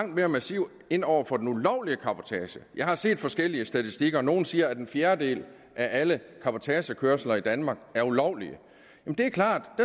mere massivt ind over for den ulovlige cabotage jeg har set forskellige statistikker nogle siger at en fjerdedel af alle cabotagekørsler i danmark er ulovlige det er klart at